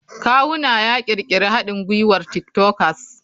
Kawuna ya ƙirƙiri haɗin gwiwar tik tokers.